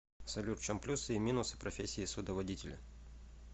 салют в чем плюсы и минусы профессии судоводителя